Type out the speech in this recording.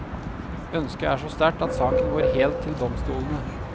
Ønsket er så sterkt at saken går helt til domstolene.